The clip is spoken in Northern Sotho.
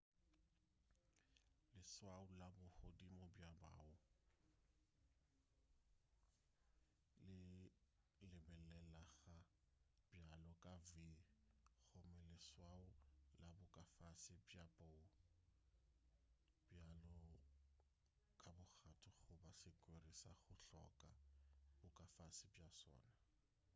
leswao la bo godimo bja bow le lebelelega bjalo ka v gomme leswao la bo ka fase bja bow bjalo ka bogato goba sekwere sa go hloka bo ka fase bja sona